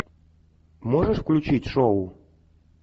можешь включить шоу